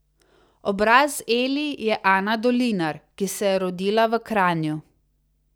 Obraz Eli je Ana Dolinar, ki se je rodila v Kranju.